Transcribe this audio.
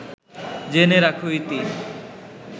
জেনে রাখ- ইতি